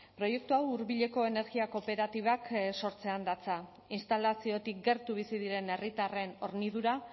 proiektu hau hurbileko energia kooperatibak sortzean datza instalaziotik gertu bizi diren herritarren hornidura